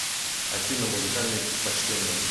афина музыкальные предпочтения